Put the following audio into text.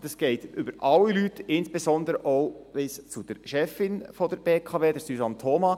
Dies gilt für alle Leute und reicht insbesondere auch bis zur Chefin der BWK, Suzanne Thoma.